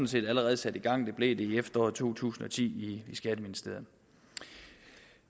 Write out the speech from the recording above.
set allerede sat i gang det blev det i efteråret to tusind og ti i skatteministeriet